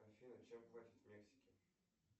афина чем платят в мексике